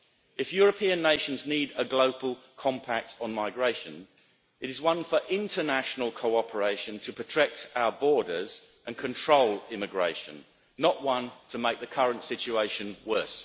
If European nations need a global compact on migration, it is one for international cooperation to protect our borders and control immigration, not one to make the current situation worse.